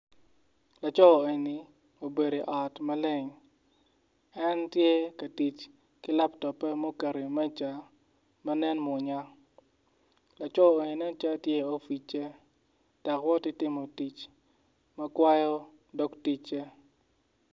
Laco eni obedo i ot maleng en tye ka tic ki laptop-pe ma oketo iwi meja ma nene mwonya laco eni nen calo tye i opic-ce dok woti timo tic ma kawayo dog ticce.